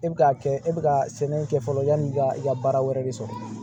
E bɛ k'a kɛ e bɛ ka sɛbɛnni kɛ fɔlɔ yanni i ka i ka baara wɛrɛ de sɔrɔ